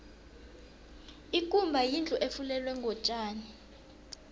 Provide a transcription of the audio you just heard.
ikumba yindlu efulelwe ngotjani